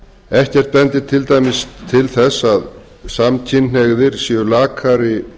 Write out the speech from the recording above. ekkert bendir til dæmis til þess að samkynhneigðir séu lakari